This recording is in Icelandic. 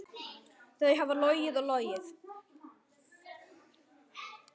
Þau hafa logið og logið.